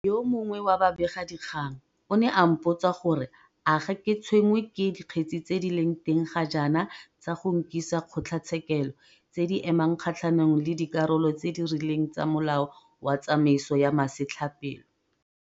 Yo mongwe wa babegadikgang o ne a mpotsa gore a ga ke tshwenngwe ke dikgetse tse di leng teng ga jaana tsa go nkisa kgotlatshekelo tse di emang kgatlhanong le dikarolo tse di rileng tsa Molao wa Tsamaiso ya Masetlapelo.